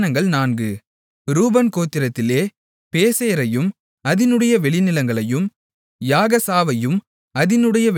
ரூபன் கோத்திரத்திலே பேசேரையும் அதினுடைய வெளிநிலங்களையும் யாகசாவையும் அதினுடைய வெளிநிலங்களையும்